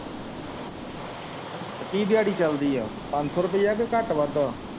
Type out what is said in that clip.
ਕੀ ਦਿਆੜੀ ਚਲਦੀ ਆ ਪੰਜ ਸੋ ਰੁਪਈਆ ਜਾਂ ਘੱਟ ਵੱਧ।